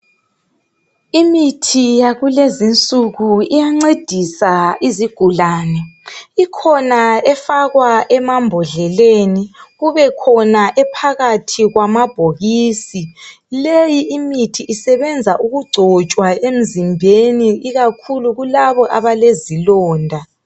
imithi yalezinsuku iyancedisa izigulane ikhona efakwa emabhodleleni ibekhona ephakathi emabhokisini leyi imithi isetshenza ukucotshwa emzimbeni ikakhulu kulabo abalezilonda